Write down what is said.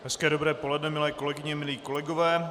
Hezké dobré poledne, milé kolegyně, milí kolegové.